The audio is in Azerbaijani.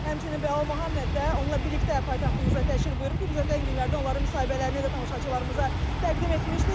Həmçinin Bəlal Muhamməd də onunla birlikdə paytaxtımıza təşrif buyurub ki, biz ötən günlərdə onların müsahibələrini də tamaşaçılarımıza təqdim etmişdik.